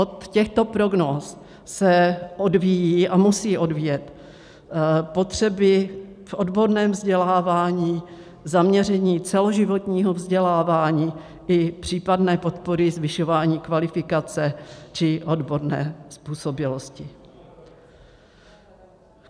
Od těchto prognóz se odvíjí a musí odvíjet potřeby v odborném vzdělávání, zaměření celoživotního vzdělávání i případné podpory zvyšování kvalifikace či odborné způsobilosti.